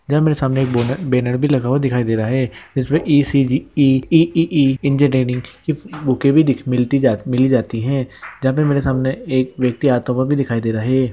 यहां मेरे सामने एक बो-बैनर भी लगा हुआ दिखाई दे रहा है जिसमे ई.सी.जी. ई.ई.ई. इंजीनियरिंग की बुके भी दिख मिलती मिली जाती है जहां पर मेरे सामने एक व्यक्ति आता हुआ भी दिखाई दे रहा है।